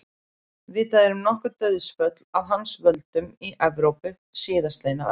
Vitað er um nokkur dauðsföll af hans völdum í Evrópu síðastliðna öld.